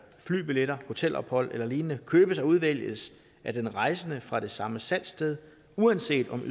flybilletter hotelophold eller lignende købes og udvælges af den rejsende fra det samme salgssted uanset om